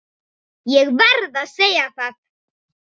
Ég verð að segja það.